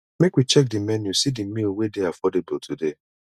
make we check di menu see di meal wey dey affordable today